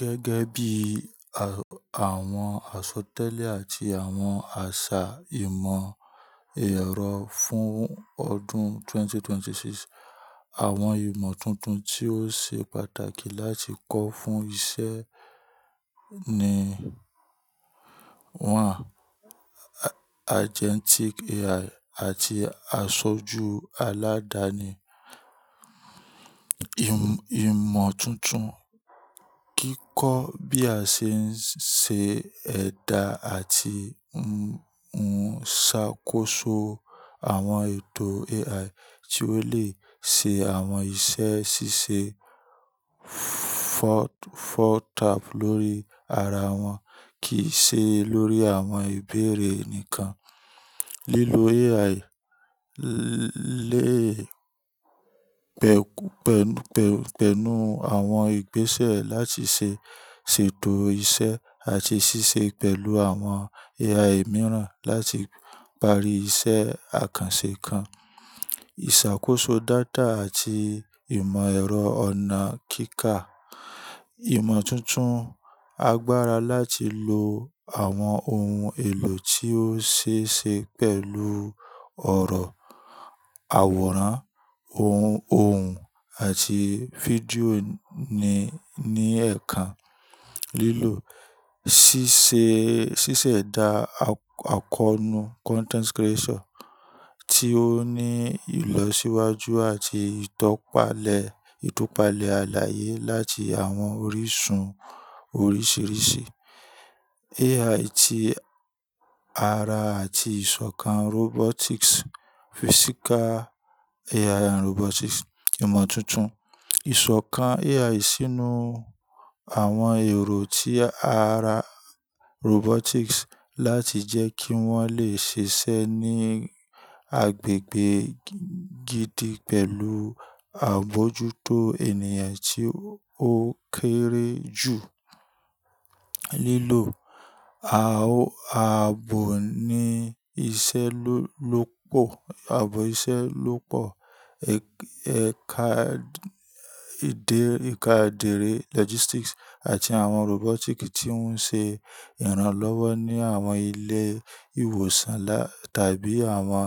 Gẹ́gẹ́ bí àwọn àsọtẹ́lẹ̀ àti àwọn àṣà ìmọ̀ ẹ̀rọ fún ọdún 2026, àwọn ìmọ̀ tuntun tí ó ṣe pàtàkì láti kọ́ fún iṣẹ́ ni: 1. Agentic AI àti Àsọjú Aládáni. Ìmọ̀ tuntun, kíkọ́ bí a ṣe ń ṣe ẹ̀dà àti ń ṣàkóso àwọn ètò AI tí ó lè ṣe àwọn iṣẹ́ ṣíṣe tap lórí ara wọn kì í ṣe lórí àwọn ìbéèrè nìkan. Lílo AI léè pẹ̀, pẹ̀, pẹ̀, pẹ̀lú àwọn ìgbésẹ̀ láti ṣe ṣètò iṣẹ́ àti ṣíṣe pẹ̀lú àwọn AI mìíràn láti parí iṣẹ́ àkànṣe kan. Ìṣàkóso data àti ìmọ̀ ẹ̀rọ ọ̀nà kíkà. Ìmọ̀ tuntun, agbára láti lo àwọn ohun èlò tí ó ṣe é ṣe pẹ̀lú ọ̀rọ̀, àwòrán, òun, ohùn àti fídíò ní, ní ẹ̀kan. Lílò ṣíṣe, ṣíṣẹ̀dá àkọnu content creation tí ó ní ìlọsíwájú àti ìtọ́palẹ̀, ìtúpalẹ̀ àlàyé láti àwọn orísun oríṣìíríṣìí. AI ti ara àti ìṣọ̀kan robotics, Physical AI and Robotics. Ìmọ̀ tuntun, ìṣọ̀kan AI sínú àwọn èrò tí ara robotics láti jẹ́ kí wọ́n lè ṣiṣẹ́ ní agbègbè gidi pẹ̀lú àbójútó ènìyàn tí ó kéré jù. Lílò, a, aabo ní iṣẹ́ lópò, aabo iṣẹ́ lópọ̀, ẹ̀ka ìdérè logistics àti àwọn robotic tí ń ṣe ìrànlọ́wọ́ ní àwọn ilé ìwòsàn tàbí àwọn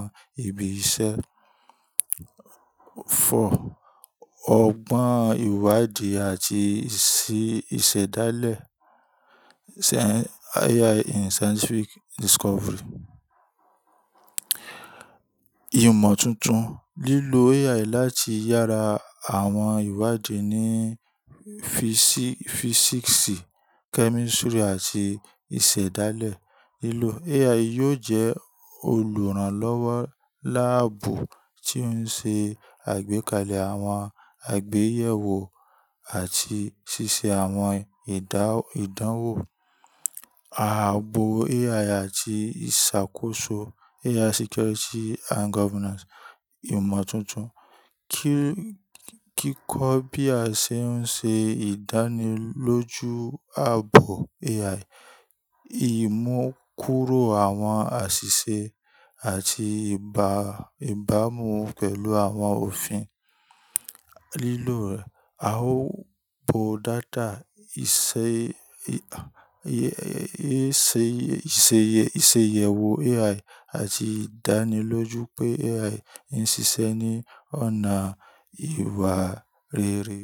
ibi iṣẹ́. Ọgbọ́n ìwádìí àti ìsí ìṣẹ̀dálẹ̀, AI in Scientific Discovery. Ìmọ̀ tuntun, lílo AI láti yára àwọn ìwádìí ní físíksì, kẹ́mísítírì àti ìṣẹ̀dálẹ̀. Lílò AI yóò jẹ́ olùrànlọ́wọ́ láàbù tí ó ń ṣe àgbékalẹ̀ àwọn àgbéyẹ̀wò àti ṣíṣe àwọn ìdánwò. Aabo AI àti ìṣàkóso AI Security and Governance. Ìmọ̀ tuntun, kí, kíkọ́ bí a ṣe ń ṣe ìdánilójú aabo AI, ì mú kúrò àwọn àṣìṣe àti ìbá, ìbámu pẹ̀lú àwọn òfin. Lílò aabo data, ìṣe, ìṣe, ìṣeyẹ̀wò AI àti ìdánilójú pé AI ń ṣiṣẹ́ ní ọ̀nà ìwà rere.